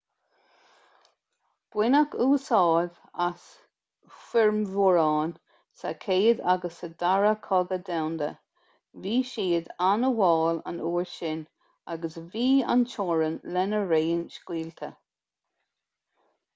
baineadh úsáid as formhuireáin sa chéad agus sa dara cogadh domhanda bhí siad an-mhall an uair sin agus bhí an-teorainn lena raon scaoilte